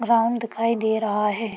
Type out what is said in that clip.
Ground दिखाई दे रहा है।